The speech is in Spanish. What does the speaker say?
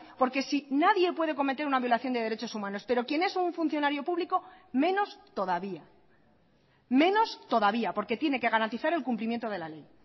porque si nadie puede cometer una violación de derechos humanos pero quien es un funcionario público menos todavía menos todavía porque tiene que garantizar el cumplimiento de la ley